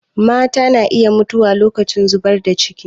Mata na iya mutuwa lokacin zubar da ciki